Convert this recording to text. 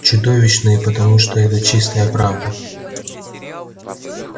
чудовищные потому что это чистая правда